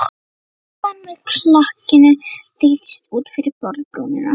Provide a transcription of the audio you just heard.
Krukkan með lakkinu þeytist út fyrir borðbrúnina.